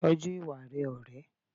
Tọ́jú ìwà rẹ ọ̀rẹ́.